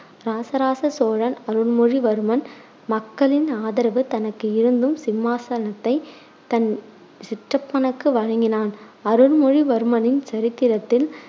இராசராச சோழன் அருள்மொழிவர்மன் மக்களின் ஆதரவு தனக்கு இருந்தும் சிம்மாசனத்தை தன் சிற்றப்பனுக்கு வழங்கினான். அருள்மொழிவர்மனின் சரித்திரத்தில்